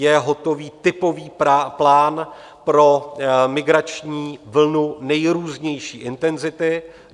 Je hotový typový plán pro migrační vlnu nejrůznější intenzity.